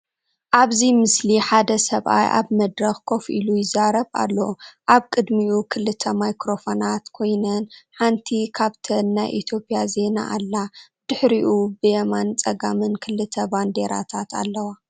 ኣብዚ ምስሊ ሓደ ሰብኣይ ኣብ መድረክ ኮፍ ኢሉ ይዛረብ ኣሎ። ኣብ ቅድሚኡ ክልተ ማይክሮፎናት ኮይነን፡ ሓንቲ ካብኣተን ናይ ኢትዮጵያ ዜና ኣላ። ብድሕሪኡ ብየማንን ጸጋምን ክልተ ባንዴራታት ኣለዋ።